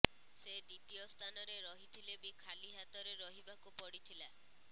ସେ ଦ୍ବିତୀୟ ସ୍ଥାନରେ ରହିଥିଲେ ବି ଖାଲି ହାତରେ ରହିବାକୁ ପଡ଼ିଥିଲା